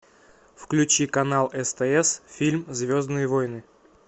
включи канал стс фильм звездные войны